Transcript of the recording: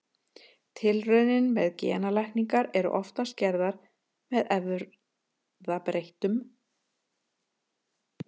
Tilraunir með genalækningar eru oftast gerðar með erfðabreyttum veirum.